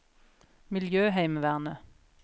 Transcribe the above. miljøheimevernet